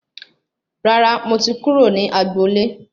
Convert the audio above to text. Rárá, mo ti kúrò ní agbo ilé